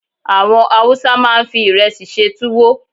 Àwọn Hausa máa ń fi ìrẹsì ṣe túwó